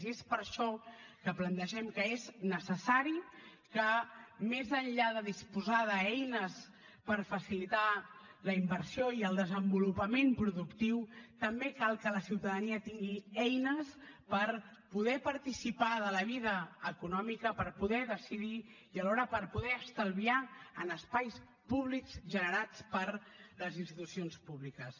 i és per això que plantegem que és necessari que més enllà de disposar d’eines per facilitar la inversió i el desenvolupament productiu també cal que la ciutadania tingui eines per poder participar de la vida econòmica per poder decidir i alhora per poder estalviar en espais públics generats per les institucions públiques